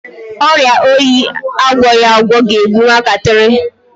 Ọrịa oyi agwọghi agwọ ga-egbu nwatakịrị.